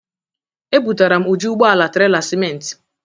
Ebutara m uju ụgbọala trela siment.